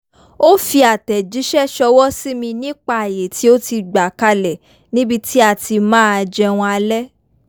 ó fi àtẹ̀jíṣẹ́ ṣọwọ́ sí mi nípa àayè tí ó ti gbà kalẹ̀ níbi tí a ti máa jẹun alẹ́